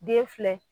Den filɛ